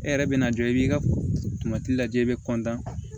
E yɛrɛ bɛna jɔ i b'i ka lajɛ i bɛ